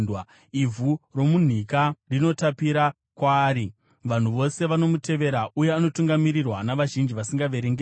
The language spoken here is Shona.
Ivhu romunhika rinotapira kwaari; vanhu vose vanomutevera, uye anotungamirirwa navazhinji vasingaverengeki.